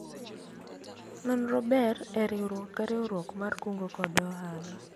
nonro ber e riwruok ka riwruok mar kungo kod hola